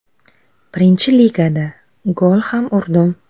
Birinchi ligada gol ham urdim.